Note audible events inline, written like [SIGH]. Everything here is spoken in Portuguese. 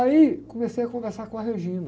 Aí comecei a conversar com a. [UNINTELLIGIBLE]